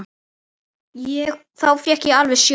Þá fékk ég alveg sjokk.